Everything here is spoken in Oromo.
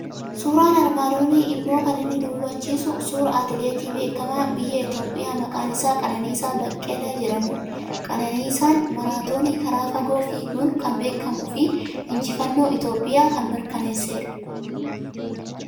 Suuraan armaan olii immoo kan inni nu hubachiisu suuraa atileetii beekamaa biyya Itoophiyaa maqaan isaa Qananiisaa Beqqelee jedhamudha. Qananiisaan maraatoonii karaa fagoo fiiguun kan beekamuu fi injifannoo Itiyoophiyaa kan mirkaneessedha.